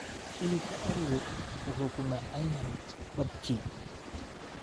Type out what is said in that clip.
Hilibka arigu wuxuu ku macaan yahay barbecue.